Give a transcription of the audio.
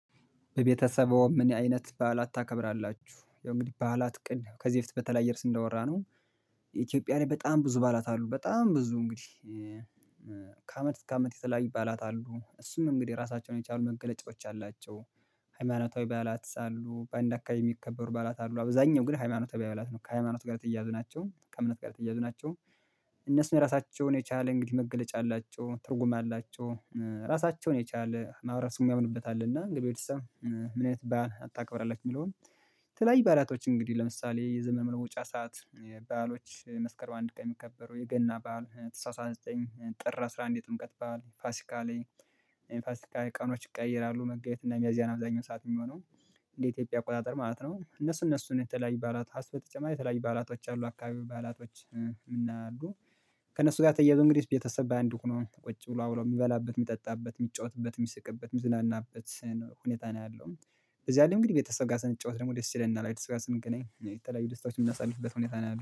በቤተሰቦዎ ምን አይነት በዓላት ታከብራላችሁ? ያው እንግዲህ በዓላት ቀን ከዚህ በፊት በተለያየ እርእስም እንዳወራነው ኢትዮጵያ ላይ በጣም ብዙ በዓላት አሉ በጣም ብዙ እንግዲህ ከአመት እስከ አመት የተለያዩ በዓላት አሉ እነሱም እንግዲህ የራሳቸውን የቻሉ መገለጫዎች አሏቸው ሃይማኖታዊ በዓላት ሳሉ በአንድ አካባቢ የሚከበሩ በዓላት አሉ አብዛኛው ግን ሃይማኖተ በዓላት ነው ከሃይማኖት ጋር ተያያዝ ናቸው ከእምነት ጋር ተያያዙ ናቸው እነሱም የራሳቸውን የቻለ እንግዲህ መገለጫ አላቸው ትርጉም አላቸው፣ ራሳቸውን የቻለ ማህበረሰብ የሚያምንበት አለና እንግዲህ ከበተሰብ ምን አይነት በዓላት ታከብራላችሁ የሚለውን የተለያዩ በዓላቶች እንግዲህ ለምሳሌ የዘመን መለወጫ ሰዓት በዓሎች መስከር አንድ ቀን የሚከበሩ፣ የገና በዓል ተሃሳስ ሃያ ዘጠኝ ጥር አስራ አንድ የጥምቀት በዓል ፋሲካ ላይ የፋሲካ ቀኖች ይቀየራሉ መጋቢት እና ሚያዝያ ነው አብዛኛው ሰዓት የሚሆነው እንደ ኢትዮጵያ አቆጣጠር ማለት ነው እነሱ እነሱን የተለያየ በዓላት ሀሳብ በተጨማሪ የተለያየ ባላቶች አሉ አካባቢያዊ በዓላቶች እና አሉ ከእነሱ ጋር ተያይዞ እንግዲህ ቤተሰብ በአንድ ሆኖ ቁጭ ብሎ አብሮ የሚበላበት የሚጠጣበት የሚጫወትበት፣ የሚስቅበት፣ የሚዝናናበት ሁኔታ ነው ያለው በዚያ ላይ እንግዲህ ቤተሰብ ጋር ስንጫወት ደስ ይለናል አይደል ስንገናኝ የተለያዩ ደስታዎች የምናሳልፍበት ሁኔታ ነው ያለው።